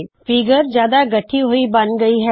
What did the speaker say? figure ਹੁਣ ਜਿਆਦਾ ਗੱਠੀ ਹੋਇ ਬਣ ਗਈ ਹੈ